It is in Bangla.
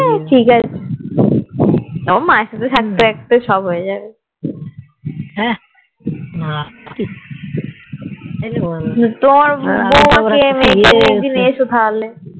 ঠিকাছে ও মা এর সাথে থাকতে সব হয়েযাবে তোমার বৌমা কে নিয়ে একদিন এস তাহলে